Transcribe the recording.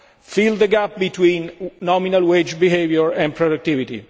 gap. Fill the gap between nominal wage behaviour and productivity.